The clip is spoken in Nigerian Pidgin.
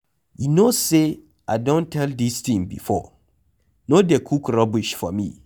You know say I don tell dis thing before, no dey cook rubbish for me.